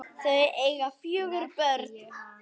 Þau eiga fjögur börn.